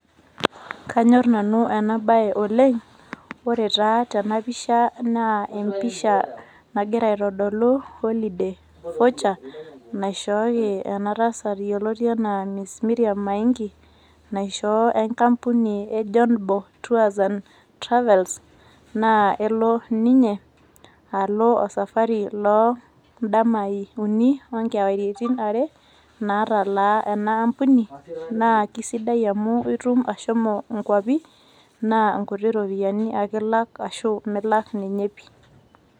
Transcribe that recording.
Kanyor nanu ena bae oleng , ore taa tena pisha naa empisha nagira aitodolu holiday voucher naishooki ena tasat yioloti anaa mrs mirriam maingi ,naishoo enkampuni e jonbo tours and travels , naa elo ninye osafari loo ndamai uni o nkewaritin are natalaa ena aampuni naa kisidai amu itum ashomo inkwapi naa nkuti ropiyaini ake ilak ashu miulak ninye pi.